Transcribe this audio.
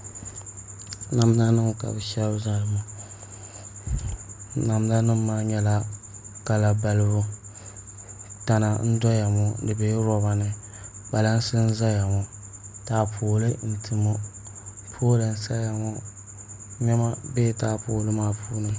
Namda nim ka bi shɛbi zali ŋɔ namda nim maa nyɛla kala balibu tana n doya ŋɔ di dola roba ni kpalansi n ʒɛya ŋɔ taapooli n ti ŋɔ pool n saya ŋɔ niɛma biɛla taapooli maa puuni